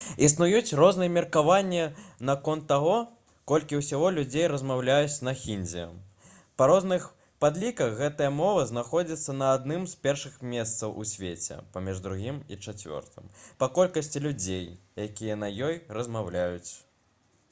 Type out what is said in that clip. існуюць розныя меркаванні наконт таго колькі ўсяго людзей размаўляюць на хіндзі. па розных падліках гэтая мова знаходзіцца на адным з першых месцаў у свеце паміж другім і чацвёртым па колькасці людзей якія на ёй размаўляюць